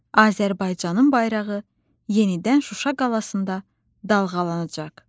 Azərbaycanın bayrağı yenidən Şuşa qalasında dalğalanacaq.